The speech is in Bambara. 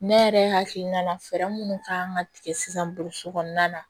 Ne yɛrɛ hakilina na fɛɛrɛ minnu kan ka tigɛ sisan boloci kɔnɔna na